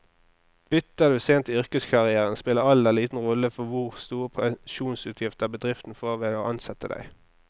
Bytter du sent i yrkeskarrieren, spiller alder liten rolle for hvor store pensjonsutgifter bedriften får ved å ansette deg.